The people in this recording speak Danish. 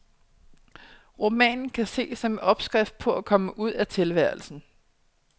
Romanen kan ses som en opskrift på at komme ud af tilværelsen.